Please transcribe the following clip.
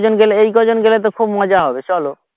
কজন গেলে এই কজন গেলে তো খুব মজা হবে চলো